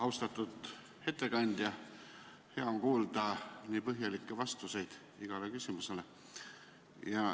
Austatud ettekandja, hea on kuulda nii põhjalikke vastuseid igale küsimusele.